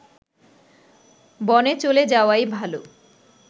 বনে চলে যাওয়াই ভাল